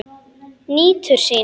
Nýtur sín.